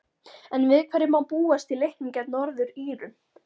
En við hverju má búast í leiknum gegn Norður-Írum?